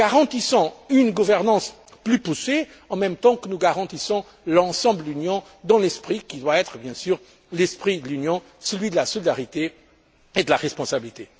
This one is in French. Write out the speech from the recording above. Garantissons une gouvernance plus poussée, en même temps que nous garantissons l'union dans son ensemble dans l'esprit qui doit être, bien sûr, l'esprit de l'Union celui de la solidarité et de la responsabilité.